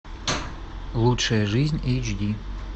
лучшая жизнь эйч ди